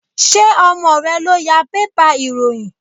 Ṣé ọmọ rẹ ló ya bébà ìròyìn?